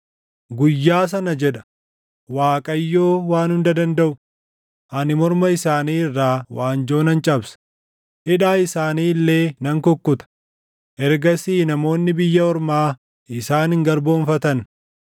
“ ‘Guyyaa sana’ jedha Waaqayyoo Waan Hunda Dandaʼu, ‘Ani morma isaanii irraa waanjoo nan cabsa; hidhaa isaanii illee nan kukkuta; ergasii namoonni biyya ormaa isaan hin garboomfatan.